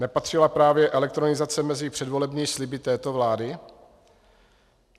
Nepatřila právě elektronizace mezi předvolební sliby této vlády?